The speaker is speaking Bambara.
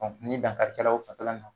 Ɔ ɲi dankari kɛla o fanfɛla in na